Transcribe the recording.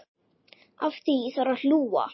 Að því þarf að hlúa.